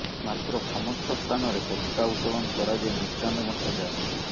ମାତ୍ର ସମସ୍ତ ସ୍ଥାନରେ ପତାକା ଉତୋଳନ କରାଯାଇ ମିଷ୍ଟାନ୍ନ ବ ଣ୍ଟା ଯାଏ